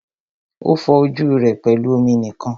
O fọ ojú rẹ pẹlú omi nìkan.